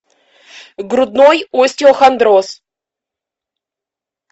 грудной остеохондроз